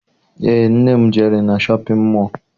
Eé, nne m jere na shọpịn mọọ